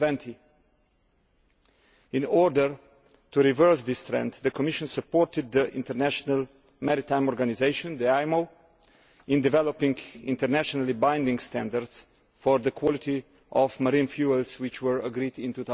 2020. In order to reverse this trend, the Commission supported the International Maritime Organisation in developing internationally binding standards for the quality of marine fuels, which were agreed in